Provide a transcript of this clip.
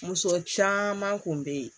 Muso caman kun be yen